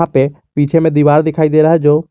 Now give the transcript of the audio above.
पीछे में दीवार दिखाई दे रहा है जो--